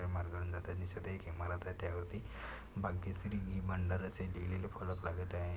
एक ईमारत त्या वरती भाग्यश्री घी भंडार आशे लिहिलेले फ़लक लागत आहे.